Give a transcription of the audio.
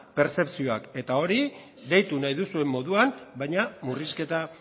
pertzepzioak eta hori eta hori deitu nahi duzuen moduan baina murrizketa